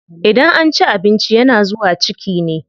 Idan an ci abinci yana zuwa ciki ne.